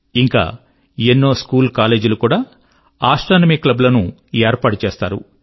ఇంకా ఎన్నో స్కూల్కాలేజ్ లు కూడా ఆస్ట్రోనమీ క్లబ్ లను ఏర్పాటు చేస్తారు